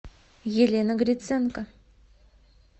елена гриценко